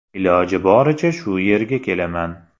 Iloji boricha shu yerga kelaman.